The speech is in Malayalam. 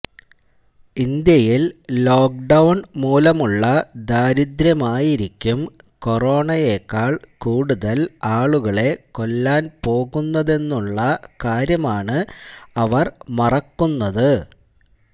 ഇന്ത്യയിൽ ലോക്ക്ഡൌൺ മൂലമുള്ള ദാരിദ്ര്യമായിരിക്കും കൊറോണയെക്കാൾ കൂടുതൽ ആളുകളെ കൊല്ലാൻ പോകുന്നതെന്നുള്ള കാര്യമാണ് അവർ മറക്കുന്നത്